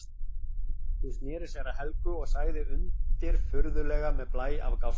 Hún sneri sér að Helgu og sagði undirfurðulega með blæ af gáska